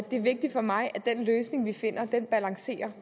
er vigtigt for mig at den løsning vi finder balancerer